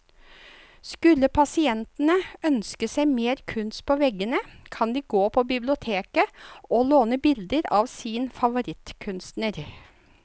Skulle pasientene ønske seg mer kunst på veggene, kan de gå på biblioteket å låne bilder av sin favorittkunstner.